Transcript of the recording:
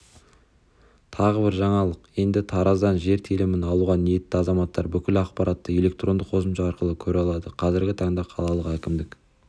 тағы бір жаңалық енді тараздан жер телімін алуға ниетті азаматтар бүкіл ақпаратты электронды қосымша арқылы көре алады қазіргі таңда қалалық әкімдік